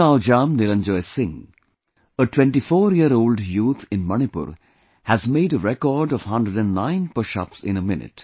Thounaojam Niranjoy Singh, a 24yearold youth in Manipur, has made a record of 109 pushups in a minute